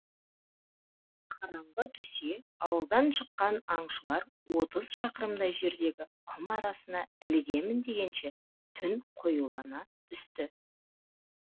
қараңғы түсе ауылдан шыққан аңшылар отыз шақырымдай жердегі құм арасына ілігемін дегенше түн қоюлана түсті